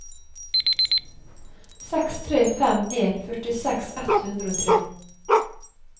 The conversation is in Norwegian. seks tre fem en førtiseks ett hundre og tre